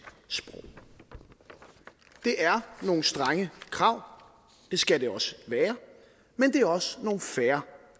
sprog det er nogle strenge krav det skal det også være men det er også nogle fair